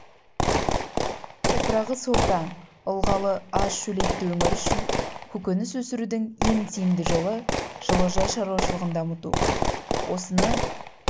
топырағы сортаң ылғалы аз шөлейтті өңір үшін көкөніс өсірудің ең тиімді жолы жылыжай шаруашылығын дамыту осыны